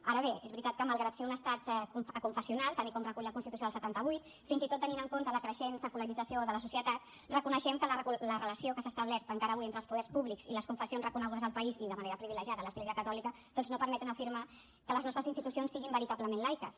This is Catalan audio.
ara bé és veritat que malgrat que és un estat aconfessional tal com recull la constitució del setanta vuit fins i tot tenint en compte la creixent secularització de la societat reconeixem que la relació que s’ha establert encara avui entre els poders públics i les confessions reconegudes al país i de manera privilegiada a l’església catòlica doncs no permet afirmar que les nostres institucions siguin veritablement laiques